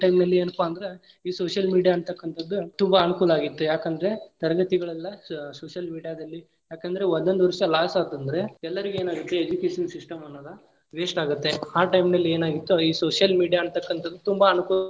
Time ಲ್ಲಿ ಏನಪ್ಪಾ ಅಂದ್ರ ಈ social media ಅಂತಕ್ಕಂತದ್ ತುಂಬಾ ಅನುಕೂಲ ಆಗಿತ್ ಯಾಕಂದ್ರೆ ತರಗತಿಗಳೆಲ್ಲಾ social media ದಲ್ಲಿ ಯಾಕಂದ್ರ ಒಂದೊಂದ್ ವರ್ಷ loss ಆಯ್ತಂದ್ರೆ ಎಲ್ಲರಿಗು ಏನಾಗೈತಿ education system ಅನ್ನೋದ waste ಆಗತ್ತೆ ಆ time ನಲ್ಲಿ ಏನಾಗಿತ್ತು ಈ social media ಅಂತಕ್ಕಂತದ ತುಂಬಾ.